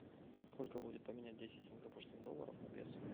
сколько будет поменять десять сингапурских долларов на песо